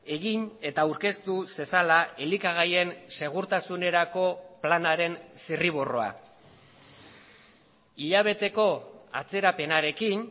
egin eta aurkeztu zezala elikagaien segurtasunerako planaren zirriborroa hilabeteko atzerapenarekin